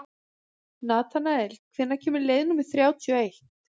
Natanael, hvenær kemur leið númer þrjátíu og eitt?